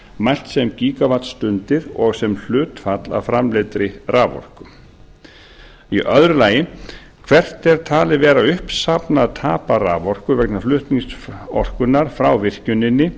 mælt sem gíga vattstundir og hlutfall af framleiddri raforku annað hvert er talið vera uppsafnað tap raforku vegna flutnings orkunnar frá virkjuninni